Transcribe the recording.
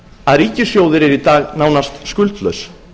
að ríkissjóður er í dag nánast skuldlaus